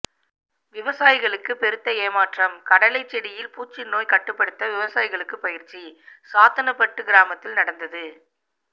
விவசாயிகளுக்கு பெருத்த ஏமாற்றம் கடலை செடியில் பூச்சி நோய் கட்டுப்படுத்த விவசாயிகளுக்கு பயிற்சி சாத்தனப்பட்டு கிராமத்தில் நடந்தது